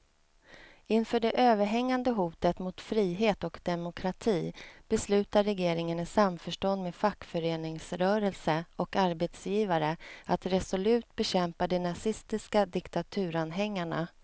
Inför det överhängande hotet mot frihet och demokrati beslutar regeringen i samförstånd med fackföreningsrörelse och arbetsgivare att resolut bekämpa de nazistiska diktaturanhängarna.